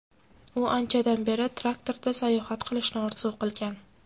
U anchadan beri traktorda sayohat qilishni orzu qilgan.